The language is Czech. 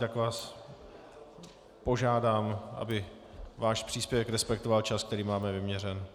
Tak vás požádám, aby váš příspěvek respektoval čas, který máme vyměřen.